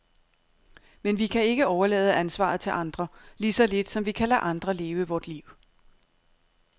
Men vi kan ikke overlade ansvaret til andre, lige så lidt som vi kan lade andre leve vort liv.